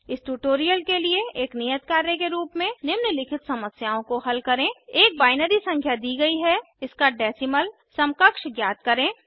इस ट्यूटोरियल के लिए एक नियत कार्य के रूप में निम्नलिखित समस्याओं को हल करें एक बाइनरी संख्या दी गई है इसका डेसीमल समकक्ष ज्ञात करें